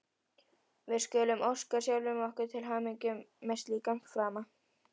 Við skulum óska sjálfum okkur til hamingju með slíkan frama!